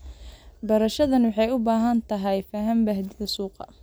Beerashadani waxay u baahan tahay faham baahida suuqa.